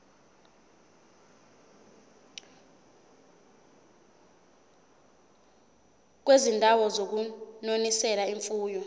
kwizindawo zokunonisela imfuyo